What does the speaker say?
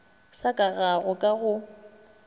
sa ka ga go ka